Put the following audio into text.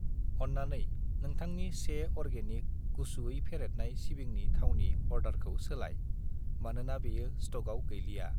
अन्नानै नोंथांनि 1 अर्गेनिक गुसुयै फेरेदनाय सिबिंनि थावनि अर्डारखौ सोलाय, मानोना बेयो स्टकआव गैलिया।